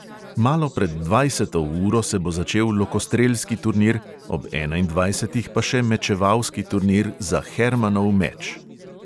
Malo pred dvajseto uro se bo začel lokostrelski turnir, ob enaindvajsetih pa še mečevalski turnir za hermanov meč.